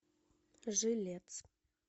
жилец